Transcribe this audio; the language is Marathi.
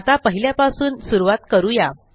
आता पहिल्यापासून सुरूवात करू या